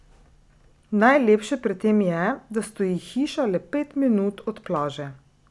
Najlepše pri tem je, da stoji hiša le pet minut od plaže ...